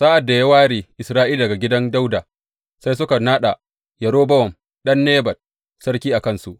Sa’ad da ya ware Isra’ila daga gidan Dawuda, sai suka naɗa Yerobowam ɗan Nebat sarki a kansu.